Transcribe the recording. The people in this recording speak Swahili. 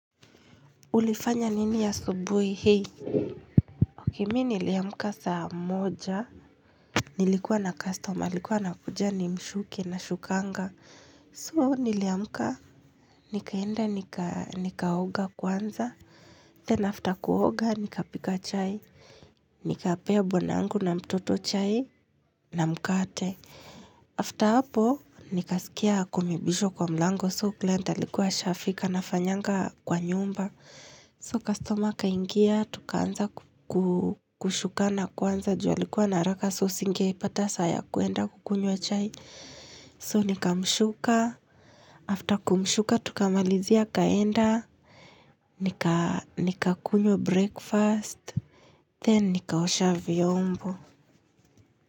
Ulifanya nini asubuhi hii Ok me niliamka saa moja Nilikuwa na customer alikuwa anakuja nimsuke nasukanga So niliamka Nikaenda nika nikaoga kwanza Then after kuoga nikapika chai Nikapea bwana yangu na mtoto chai na mkate After hapo nikasikia kumebishwa kwa mlango so client alikuwa ashafika nafanyanga kwa nyumba So kastoma akaingia, tukaanza kushukana kwanza juu alikuwa na haraka so singepata saa ya kuenda kunywa chai. So nikamshuka, after kumshuka tukamalizia akaenda, nikakunywa breakfast, then nikakaosha vyombo.